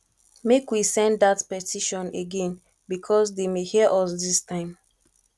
make we send dat petition again because dey may hear us dis time